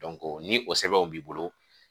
ni o sɛbɛnw b'i bolo